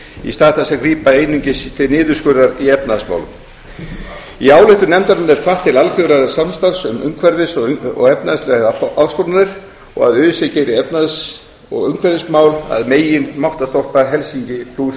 í stað þess að grípa einungis til niðurskurðar í efnahagsmálum í ályktun nefndarinnar er hvatt til alþjóðlegs samstarfs um umhverfis og efnahagslegar áskoranir og að öse geri efnahags og umhverfismál að megin máttarstólpa helsinki fjörutíu